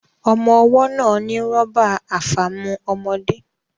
Ọmọ́ ọwọ́ náà ní rọ́bà àfàmu ọmọde